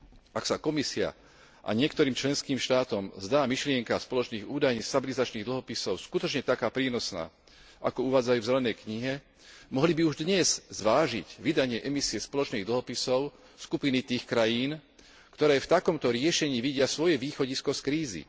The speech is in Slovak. Ak sa Komisii a niektorým členským štátom zdá myšlienka spoločných údajne stabilizačných dlhopisov skutočne taká prínosná, ako uvádzajú v zelenej knihe, mohli by už dnes zvážiť vydanie emisie spoločných dlhopisov skupiny tých krajín, ktoré v takomto riešení vidia svoje východisko z krízy.